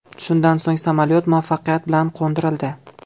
Shundan so‘ng samolyot muvaffaqiyat bilan qo‘ndirildi.